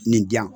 Nin diyan